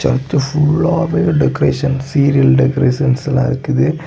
Search ஃபுல்லா வேற decorations serial decoration எல்லா இருக்குது.